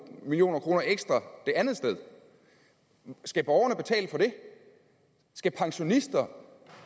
million kroner ekstra det andet sted skal borgerne betale for det skal pensionister